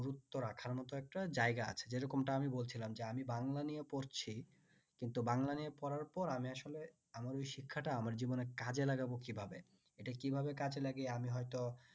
গুরুত্ব রাখার মত একটা জায়গা আছে যে রকমটা আমি বলছিলাম যে আমি বাংলা নিয়ে পড়ছি কিন্তু বাংলা নিয়ে পড়ার পর আমি আসলে আমার ওই শিক্ষাটা আমার জীবনে কাজে লাগাবো কিভাবে এটা কিভাবে কাজে লাগিয়ে আমি হইত